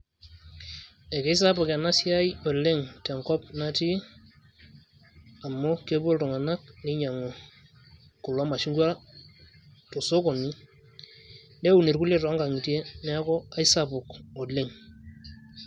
ekeisapuk ena siai leng tenkop natii, amu kepuo iltunganak ninyiangu kulo mashungwa te sokoni, neun irkulie too nkang'itie neeku keisapuk oleng.